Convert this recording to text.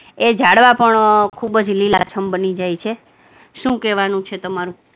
એ ઝાડવા પણ ખુબ જ લીલાછમ બની જાય છે. શું કેવાનું છે તમારું?